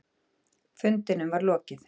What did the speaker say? Fundinum var lokið.